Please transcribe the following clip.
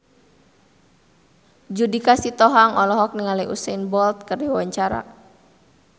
Judika Sitohang olohok ningali Usain Bolt keur diwawancara